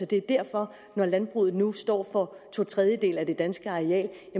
det er derfor når landbruget nu står for to tredjedele af det danske areal